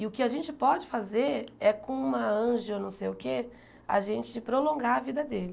E o que a gente pode fazer é, com uma anja não sei o quê, a gente prolongar a vida dele.